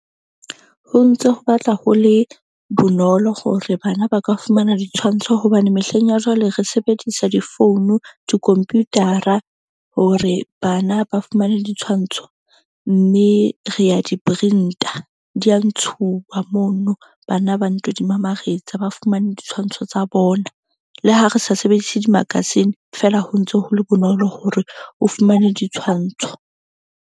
Ho ntse ho batla ho le bonolo hore bana ba ka fumana ditshwantsho hobane mehleng ya jwale re sebedisa di-phone, di-computer-ra hore bana ba fumane ditshwantsho. Mme re a di-print-a di ya ntshuwa mono. Bana ba nto di mamaretsa ba fumane ditshwantsho tsa bona. Le ha re sa sebedise di-magazine feela, ho ntso ho le bonolo hore o fumane ditshwantsho.